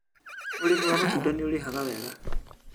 ũrĩmi wa matunda nĩũrĩhaga wega